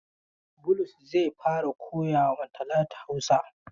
Bulus zai fara koya ma Talatu Hausa.